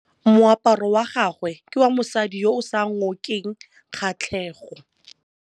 Moaparô wa gagwe ke wa mosadi yo o sa ngôkeng kgatlhegô.